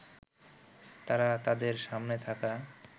তারা তাদের সামনে থাকা